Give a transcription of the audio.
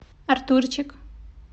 артурчик